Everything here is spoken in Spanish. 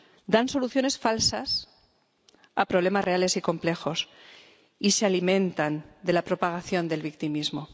Dan soluciones falsas a problemas reales y complejos, y se alimentan de la propagación del victimismo.